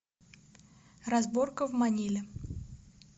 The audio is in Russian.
разборка в маниле